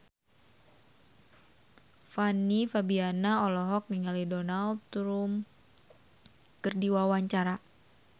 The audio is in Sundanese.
Fanny Fabriana olohok ningali Donald Trump keur diwawancara